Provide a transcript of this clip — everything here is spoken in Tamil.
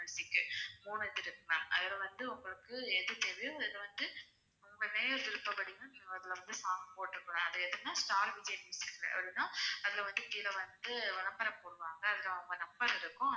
இருக்குது ma'am அதுல வந்து உங்களுக்கு எது தேவையோ அதுல வந்து உங்க நேர விருப்பப்படி ma'am நீங்க அதுல வந்து song போட்டிருக்கலாம் அது எதுன்னா ஸ்டார் விஜய் மியூசிக் அதுன்னா அதுல வந்து கீழ வந்து விளம்பரம் போடுவாங்க அதுல அவங்க number இருக்கும்